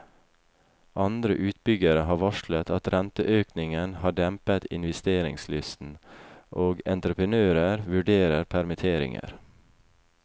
Andre utbyggere har varslet at renteøkningen har dempet investeringslysten, og entreprenører vurderer permitteringer.